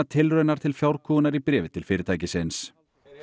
tilraun til í bréfi til fyrirtækisins